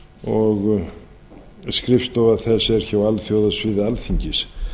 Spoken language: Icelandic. og skrifstofa þess er alþjóðasvið alþingis